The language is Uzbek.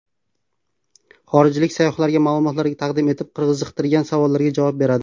Xorijlik sayyohlarga ma’lumotlar taqdim etib, qiziqtirgan savollariga javob beradi.